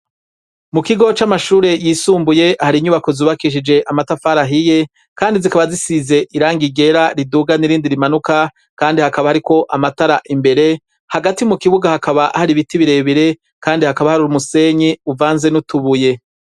Mu kigo c'amashure yisumbuye, hari inyubako zubakishije amatafari ahiye, kandi zikaba zisize irangi ryera riduga n'irindi rimanuka, kandi hakaba hariko amatara imbere, hagati mu kibuga hakaba hari ibiti birebire, kandi hakaba hari umusenyi uvanze n'utubuye.